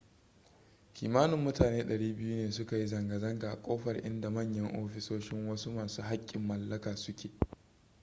kimanin mutane 200 ne suka yi zanga-zanga a kofar inda manyan ofisoshin wasu masu haƙƙin mallaka su ke